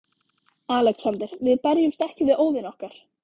ALEXANDER: Við berjumst ekki við óvini okkar.